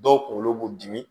Dɔw kunkolo b'u dimi